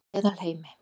Meðalheimi